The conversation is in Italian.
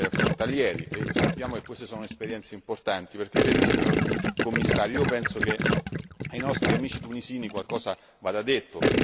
frontalieri, sappiamo che queste sono esperienze importanti. Perché, vede signor Commissario, io penso che ai nostri amici tunisini qualcosa vada detto.